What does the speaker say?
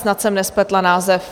Snad jsem nespletla název.